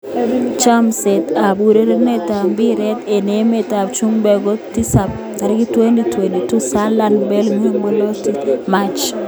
Chomset ab urerenet ab mbiret eng emet ab chumbek kotisap 13.09.2020: Salah, Bale, Reguilon, Belotti, Alonso, Paulinho, Toure, March